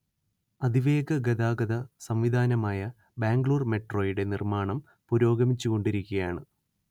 അതിവേഗ ഗതാഗത സം‌വിധാനമായ ബാംഗ്ലൂർ മെട്രോയുടെ നിർമ്മാണം പുരോഗമിച്ചു കൊണ്ടിരിക്കുകയാണ്‌